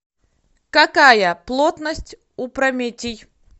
какая плотность у прометий